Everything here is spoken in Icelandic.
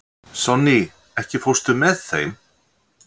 Sonný, ekki fórstu með þeim?